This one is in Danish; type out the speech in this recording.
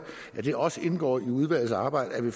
at det også skal indgå i udvalgets arbejde at vi